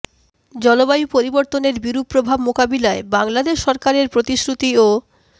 জলবায়ু পরিবর্তনের বিরূপ প্রভাব মোকাবিলায় বাংলাদেশ সরকারের প্রতিশ্রুতি ও